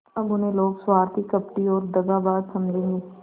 अब उन्हें लोग स्वार्थी कपटी और दगाबाज समझेंगे